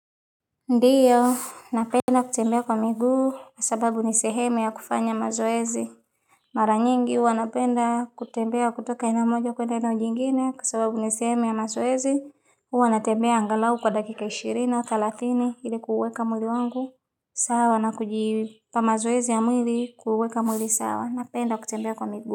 Ndiyo, napenda kutembea kwa miguu kwa sababu ni sehemu ya kufanya mazoezi Mara nyingi huwa napenda kutembea kutoka eneo moja kuenda eneo lingine kwa sababu ni sehemu ya mazoezi huwa natembea angalau kwa dakika ishirini au thalathini ili kuuweka mwili wangu sawa na kujipa mazoezi ya mwili kuuweka mwili sawa napenda kutembea kwa miguu.